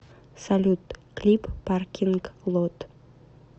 салют клип паркинг лот